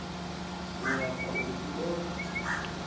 u lapfa uri dzi kone